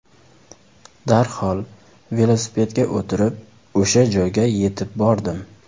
Darhol velosipedga o‘tirib o‘sha joyga yetib bordim.